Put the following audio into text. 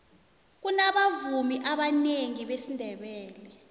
kunabavumi abanengi besindebele